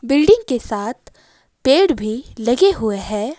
Building के साथ पेड़ भी लगे हुए है।